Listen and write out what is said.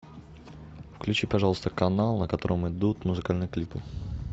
включи пожалуйста канал на котором идут музыкальные клипы